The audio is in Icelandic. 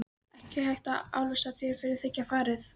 Ekki hægt að álasa þér fyrir að þiggja farið.